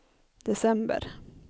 december